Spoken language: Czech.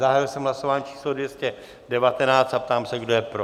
Zahájil jsem hlasování číslo 219 a ptám se, kdo je pro?